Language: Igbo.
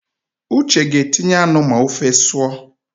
Uche ga-etinye anụ ma ofe sụọ